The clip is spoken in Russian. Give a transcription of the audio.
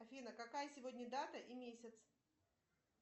афина какая сегодня дата и месяц